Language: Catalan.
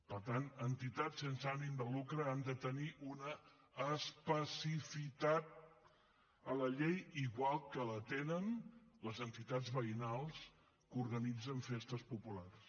per tant entitats sense ànim de lucre han de tenir una especificitat a la llei igual que la tenen les entitats veïnals que organitzen festes populars